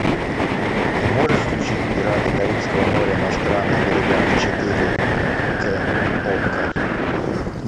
ты можешь включить пираты карибского моря на странных берегах четыре к окко